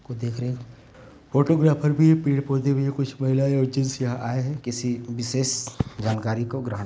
को देख रहे। फोटोग्राफर भी पेड़- पौधे भी हैं कुछ महिलाये और जैंट्स आए हैं किसी विशेष जानकारी को ग्रहड़ --